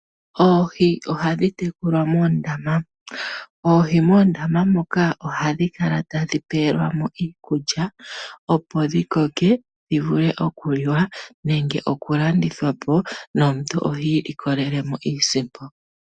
Oohi ohadhi tekulwa moondama. Oohi moondama moka ohadhi kala tadhi pelwa mo iikulya opo dhi koke dhi vule okuliwa nenge okulandithwa po, nomuntu oha ilikolele mo iisimpo.